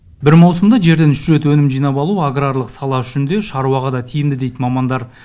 бір маусымда жерден үш рет өнім жинап алу аграрлық сала үшін де шаруаға да тиімді дейді мамандар